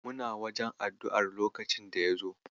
Muna wajen addu'ar lokacin da ya zo.